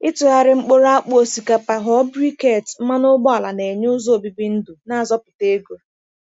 Ịtụgharị mkpụrụ akpụ osikapa ghọọ briquette mmanụ ụgbọala na-enye ụzọ obibi ndụ na-azọpụta ego.